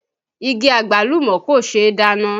Igi Àgbálùmọ́ kò ṣe é dáná